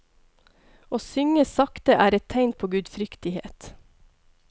Å synge sakte er et tegn på gudfryktighet.